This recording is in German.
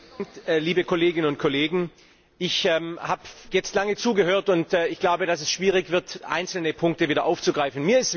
Herr Präsident, liebe Kolleginnen und Kollegen! Ich habe jetzt lange zugehört, und ich glaube, dass es schwierig wird, einzelne Punkte wieder aufzugreifen.